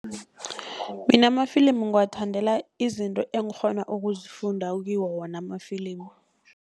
Mina amafilimu ngiwathandela izinto engikghona ukuzifunda kiwo wona amafilimu.